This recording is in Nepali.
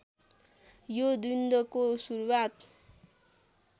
यो द्वन्द्वको सुरुवात